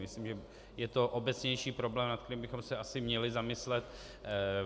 Myslím, že je to obecnější problém, nad kterým bychom se asi měli zamyslet.